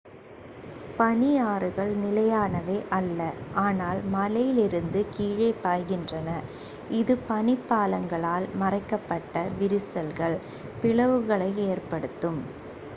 பனி ஆறுகள் நிலையானவை அல்ல ஆனால் மலையிலிருந்து கீழே பாய்கின்றன இது பனிப் பாலங்களால் மறைக்கப்பட்ட விரிசல்கள் பிளவுகளை ஏற்படுத்தும்